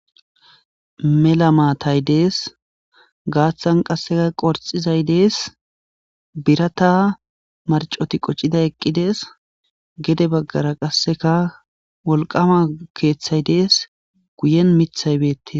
mela maatay dees gaaththan qasseka qorxizay dees birata marcoti qoccida eqqidees gede baggara qasseka wolqama keeththay dees guyen mithay beette